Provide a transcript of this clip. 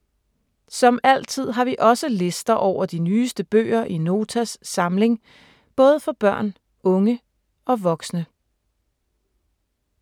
Som altid har vi også lister over de nyeste bøger i Notas samling, både for børn, unge og voksne.